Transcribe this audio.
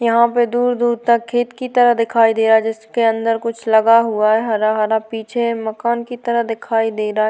यहाँ पे दुर - दुर तक खेत की तरह दिखाई दे रहा है जिसके अंदर कुछ लगा हुआ है हरा - हरा पीछे मकान की तरह देखाई दे रहा है।